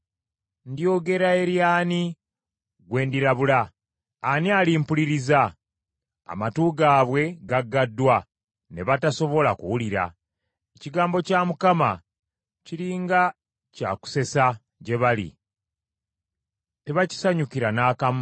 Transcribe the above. Ndyogera eri ani gwe ndirabula? Ani alimpuliriza? Amatu gaabwe gagaddwa ne batasobola kuwulira. Ekigambo kya Mukama kiri nga kyakusesa gye bali, tebakisanyukira n’akamu.